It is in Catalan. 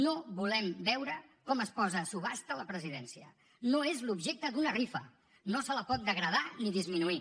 no volem veure com es posa a subhasta la presidència no és l’objecte d’una rifa no se la pot degradar ni disminuir